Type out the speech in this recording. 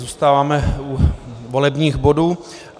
Zůstáváme u volebních bodů.